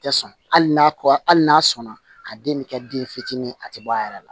Tɛ sɔn hali n'a ko ali n'a sɔnna a den bɛ kɛ den fitinin ye a tɛ bɔ a yɛrɛ la